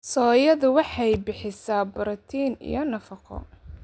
Soyadu waxay bixisaa borotiin iyo nafaqo.